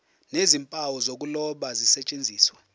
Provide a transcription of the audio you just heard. nezimpawu zokuloba zisetshenziswe